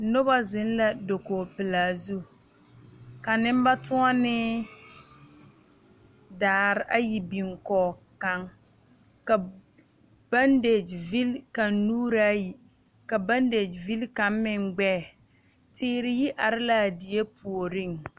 Noba zeŋ la dakoo pelaa zu ka nemba tuonee daare ayi biŋ kɔge kaŋ ka bandege vili kaŋ nuure ayi ka bandege vili kaŋ meŋ gbɛɛ teere yi are la a bie puoriŋ